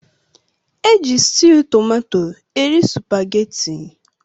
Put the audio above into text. Eji stewwu tomato eri supaghetti.